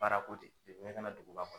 Baara ko ne kana duguba kɔ